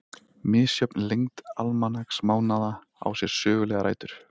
Misjöfn lengd almanaksmánaðanna á sér sögulegar rætur.